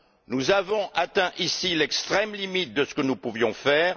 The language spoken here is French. Nous avons atteint, ici, l'extrême limite de ce que nous pouvions faire.